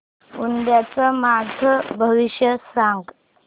उद्याचं माझं भविष्य सांग